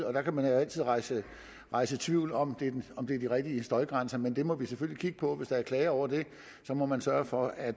og der kan man jo altid rejse rejse tvivl om om det er de rigtige støjgrænser men det må vi selvfølgelig kigge på hvis der er klager over det og så må man sørge for at